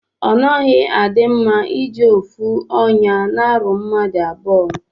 Onaghi adi mma iji ofu onya na aru mmadu abụọ.